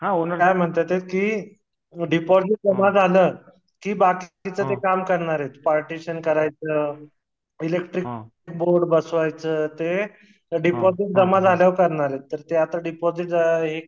हो त्या काय म्हणतात हे कि डीपाजीट जमा झाल कि बाकीच काम करणार आहेत पार्टेशन करायचं इलेक्ट्रिक बोर्ड बसवायचं ते डीपाजीट जमा झालावर करणार आहे त्यातर आता डीपाजीट जमा